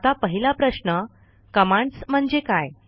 आता पहिला प्रश्न कमांड्स म्हणजे काय